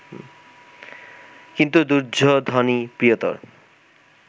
কিন্তু দুর্যোধনই প্রিয়তর